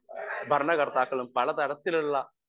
speaker 1 ഭരണകർത്താക്കളും പലതരത്തിലുള്ള